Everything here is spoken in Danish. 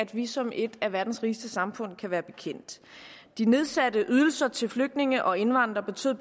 vi som et af verdens rigeste samfund kunne være bekendt de nedsatte ydelser til flygtninge og indvandrere betød